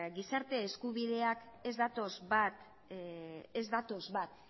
gizarte eskubideak ez datoz bat ez datoz bat